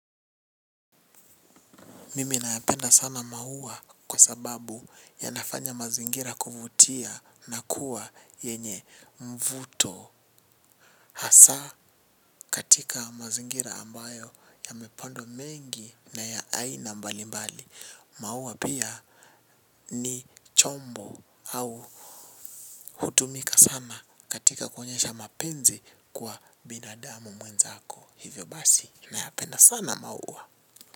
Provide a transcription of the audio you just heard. Mimi nayapenda sana maua kwa sababu yanafanya mazingira kuvutia na kuwa yenye mvuto. Hasa katika mazingira ambayo yamepandwa mengi na ya aina mbali mbali. Maua pia ni chombo au hutumika sana katika kuonyesha mapenzi kwa binadamu mwenzako. Hivyo basi nayapenda sana maua.